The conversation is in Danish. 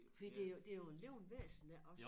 Fordi det jo det jo en levende væsen ja også